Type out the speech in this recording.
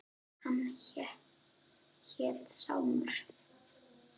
Hann hét Sámur.